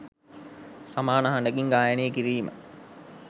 සමාන හඬකින් ගායනය කිරීම